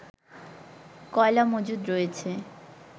কয়লা মজুদ রয়েছে